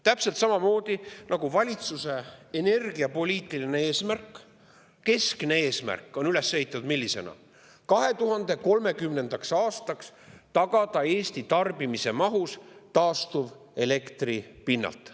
Täpselt samamoodi nagu on üles ehitatud valitsuse energiapoliitiline eesmärk, keskne eesmärk: 2030. aastaks tagada Eesti tarbimine taastuvelektri pinnalt.